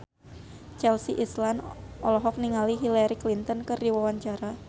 Chelsea Islan olohok ningali Hillary Clinton keur diwawancara